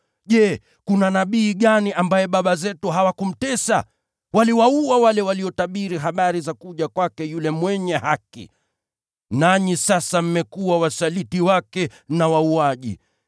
Je, kuna nabii gani ambaye baba zenu hawakumtesa? Waliwaua wale waliotabiri habari za kuja kwake yule Mwenye Haki. Nanyi sasa mmekuwa wasaliti wake na wauaji.